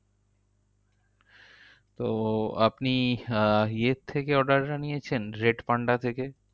তো আপনি আহ ইয়ের থেকে order আনিয়েছেন? red panda থেকে?